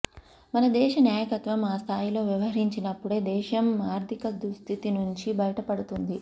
మన దేశ నాయకత్వం ఆ స్థాయిలో వ్యవహరించినప్పుడే దేశం ఆర్థికదుస్థితి నుంచి బయటపడుతుంది